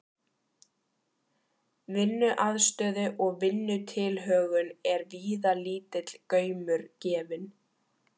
Vinnuaðstöðu og vinnutilhögun er víða lítill gaumur gefinn.